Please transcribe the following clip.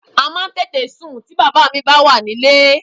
A máa ń tètè sùn ti bàbá mi bá wà nílé